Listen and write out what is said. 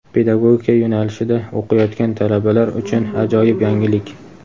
Pedagogika yo‘nalishida o‘qiyotgan talabalar uchun ajoyib yangilik.